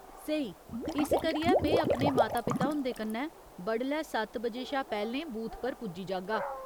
स्हेई। इस करियै में अपने माता पिता हुं'दे कन्नै बडलै सत्त बजे शा पैह्‌लें बूथ पर पुज्जी जागा।